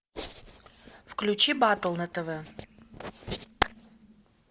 включи батл на тв